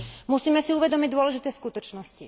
Musíme si uvedomiť dôležité skutočnosti.